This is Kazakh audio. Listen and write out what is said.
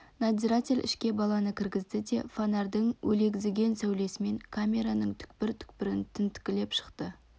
надзиратель ішке баланы кіргізді де фонарьдың өлегізген сәулесімен камераның түкпір-түкпірін тінткілеп шықты